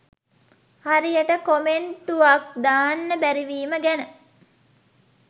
හරියට කොමෙන්ටුවක් දාන්න බැරිවීම ගැන